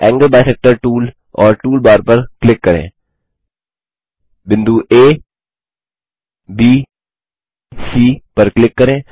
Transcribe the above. angle bisector tool और tool bar पर click करें बिंदु abसी पर क्लिक करें